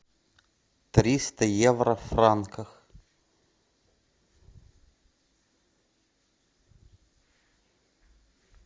триста евро в франках